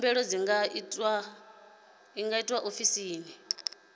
khumbelo dzi nga itwa ofisini